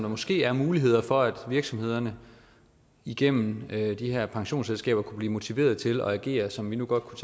måske er muligheder for at virksomhederne igennem de her pensionsselskaber kan blive motiveret til at agere som vi godt kunne